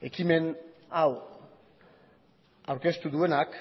ekimen hau aurkeztu duenak